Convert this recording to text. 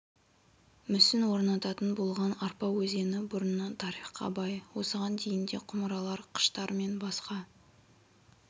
мүсін орнататын болған арпа өзені бұрыннан тарихқа бай осыған дейін де құмыралар қыштар мен басқа